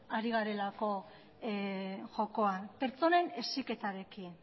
ari garelako jokoan pertsonen heziketarekin